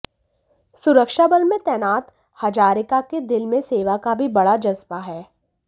सुरक्षाबल में तैनात हजारिका के दिल में सेवा का भी बड़ा जज्बा है